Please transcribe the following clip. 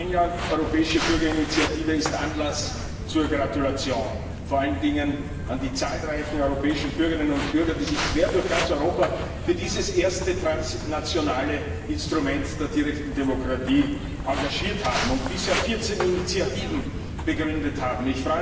Ein Jahr Europäische Bürgerinitiative ist Anlass zur Gratulation, vor allen Dingen an die zahlreichen europäischen Bürgerinnen und Bürger, die sich quer durch ganz Europa für dieses erste transnationale Instrument der direkten Demokratie engagiert haben und bisher 14 Initiativen begründet haben.